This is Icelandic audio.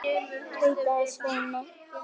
tautaði Svenni.